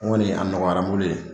n kɔni a nɔgɔyara n bolo yen